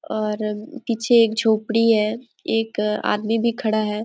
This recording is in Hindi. और पीछे एक झोपड़ी है एक आदमी भी खड़ा है|